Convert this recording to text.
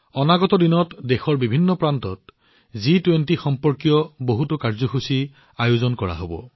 অনাগত দিনত দেশৰ বিভিন্ন প্ৰান্তত জি২০ সম্পৰ্কীয় বহুতো কাৰ্যসূচী আয়োজন কৰা হব